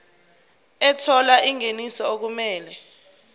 ethola ingeniso okumele